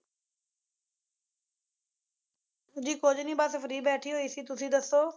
ਜੀ ਕੁਝ ਨਹੀਂ ਬੱਸ free ਬੈਠੀ ਹੋਈ ਸੀ ਤੁਸੀਂ ਦੱਸੋ